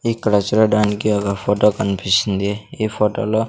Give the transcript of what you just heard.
ఇక్కడ చూడడానికి ఒక ఫొటో కన్పిస్తుంది ఈ ఫోటోలో --